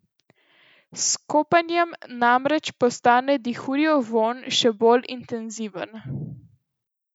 S kopanjem namreč postane dihurjev vonj še bolj intenziven.